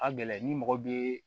A gɛlɛn ni mɔgɔ bɛ